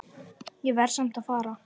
Ég verð samt að fara